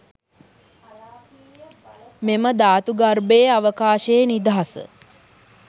මෙම ධාතු ගර්භයේ අවකාශයේ නිදහස